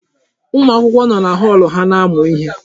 Ụmụ akwụkwọ nọ na họọlụ ha na-amụ ihe.